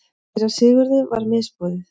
Síra Sigurði var misboðið.